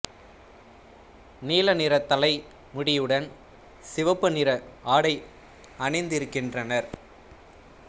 நீல நிற தலை முடியுடன் சிவப்பு நிற ஆடை அணிந்திருக்கின்றனர்